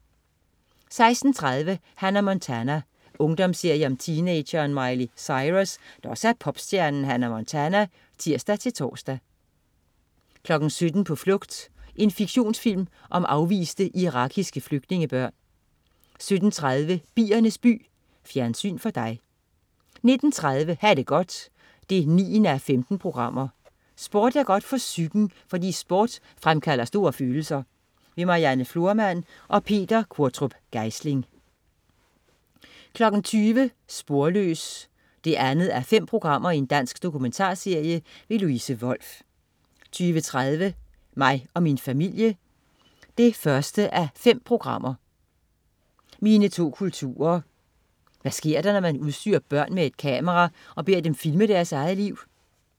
16.30 Hannah Montana. Ungdomsserie om teenageren Miley Cyrus, der også er popstjernen Hannah Montana (tirs-tors) 17.00 På flugt. En fiktionsfilm om afviste irakiske flygtningebørn 17.30 Biernes by. Fjernsyn for dig 19.30 Ha' det godt 9:15. Sport er godt for psyken, fordi sport fremkalder store følelser. Marianne Florman og Peter Q. Geisling 20.00 Sporløs 2:5. Dansk dokumentarserie. Louise Wolff 20.30 Mig og min familie 1:5. Mine to kulturer. Hvad sker der, når man udstyrer børn med et kamera og beder dem filme deres eget liv?